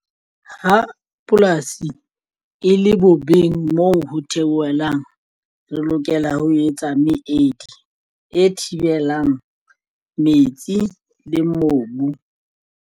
Ha polasi e le bobeng moo ho theohelang re lokela ho etsa meedi e thibelang metsi le mobu.